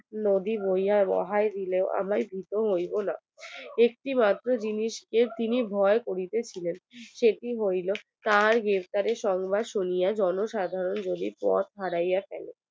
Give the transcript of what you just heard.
নদী বইয়া বাহাই দিলেও আমি ভীত হইবো না একটি মাত্র জিনিস কে মাত্র তিনি ভয় করিতেছিলেন সেটি হলো তার গ্রেফতারের সংবাদ শুনাইয়া জনসাধারণ যদি পথ হারাইয়া ফেলে